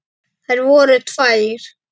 Þær voru tvær.